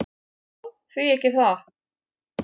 """Já, því ekki það."""